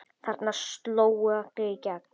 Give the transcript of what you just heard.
Þarna slógu allir í gegn.